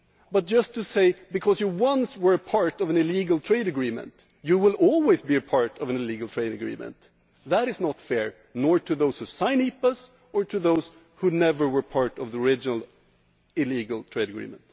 But just because you once were part of an illegal trade agreement, you will always be a part of an illegal trade agreement that is not fair neither to those who sign EPAs nor to those who never were part of the original illegal trade agreement.